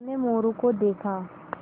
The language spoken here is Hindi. उन्होंने मोरू को देखा